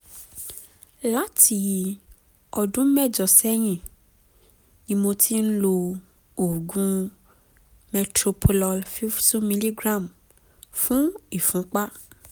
láti ọdún mẹ́jọ sẹ́yìn ni mo ti ń lo oògùn metoprolol fifty mg fún ìfúnpá